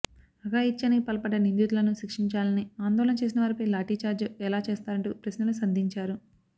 అఘాయిత్యానికి పాల్పడ్డ నిందితులను శిక్షించాలని ఆందోళన చేసినవారిపై లాఠీఛార్జ్ ఎలా చేస్తారంటూ ప్రశ్నలు సంధించారు